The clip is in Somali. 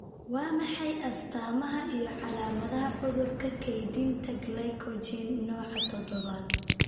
Waa maxay astamaha iyo calaamadaha cudurka kaydinta Glycogen nooca todobaad?